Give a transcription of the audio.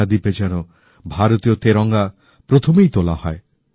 লাক্ষাদ্বীপে যেন ভারতীয় তেরঙা প্রথমেই তোলা হয়